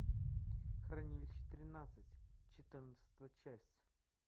хранилище тринадцать четырнадцатая часть